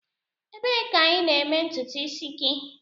Ebee ka ị na-eme ntutu isi gị?